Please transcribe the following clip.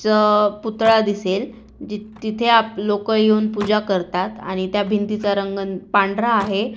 च पुतळा दिसेल जिथे आप लोक येऊन पूजा करतात आणि त्या भिंतीचा रंग पांढरा आहे.